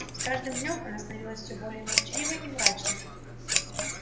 с каждым днём она становилась все более молчаливой и мрачной